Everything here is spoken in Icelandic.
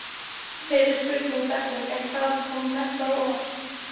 Fyrri spurning dagsins er: Hvað kom mest á óvart?